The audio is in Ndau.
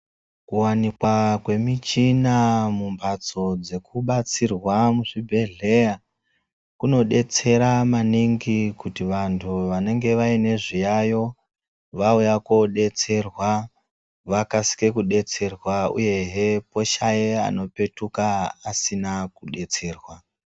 Kuwanikwa kwemichina mumbatso dzekubatsirwa muzvibhedhleya kunodetsera maningi kuti vantu vanenge aine zviyayo vauya kodetserwa vakasike kudetsererwa uyehe poshaya anopetukaasina kudetserwa.